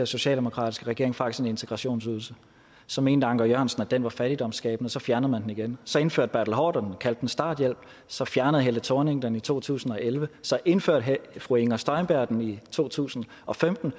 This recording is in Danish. socialdemokratiske regering faktisk en integrationsydelse så mente anker jørgensen at den var fattigdomsskabende og så fjernede man den igen så indførte bertel haarder den og kaldte den starthjælp så fjernede helle thorning schmidt den i to tusind og elleve så indførte fru inger støjberg den i to tusind og femten